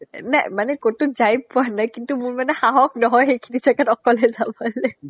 এ মা মানে ক'ত ক'ত যায় পোৱা নাই কিন্তু মোৰ মানে সাহস নহয় সেইখিনি জাগাত অকলে যাবলে